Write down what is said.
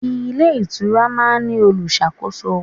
Ilé ìtura máa ń ní olùṣàkóso.